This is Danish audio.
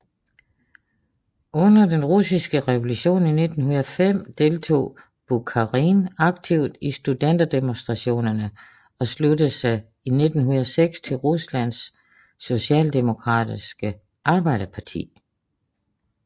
Under den Russiske Revolution i 1905 deltog Bukharin aktivt i studenterdemonstrationerne og sluttede sig i 1906 til Ruslands Socialdemokratiske Arbejderparti